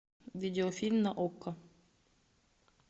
видеофильм на окко